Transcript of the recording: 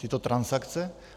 Tyto transakce?